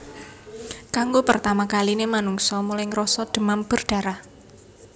Kanggo pertama kaline manungsa mulai ngrasa demam berdarah